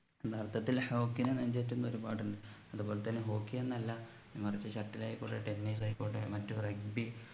യഥാർത്ഥത്തിൽ hockey നെ നെഞ്ചേറ്റുന്ന ഒരുപാട്ണ്ട് അതുപോലെതന്നെ hockey എന്നല്ല മറിച്ച് shuttle ആയിക്കോട്ടെ tennis ആയിക്കോട്ടെ മറ്റ് rugby